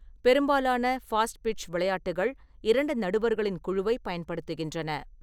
பெரும்பாலான ஃபாஸ்ட்பிட்ச் விளையாட்டுகள் இரண்டு நடுவர்களின் குழுவைப் பயன்படுத்துகின்றன.